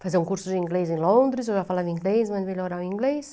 Fazer um curso de inglês em Londres, eu já falava inglês, né, mas melhorar o inglês.